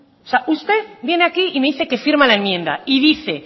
o sea usted viene aquí y me dice que firma la enmienda y dice